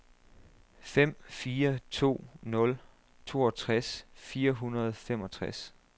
fem fire to nul toogtres fire hundrede og femogtres